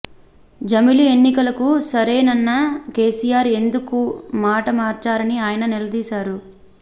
జమిలి ఎన్నికలకు సరేనన్న కేసిఆర్ ఎందుకు మాట మార్చారని ఆయన నిలదీశారు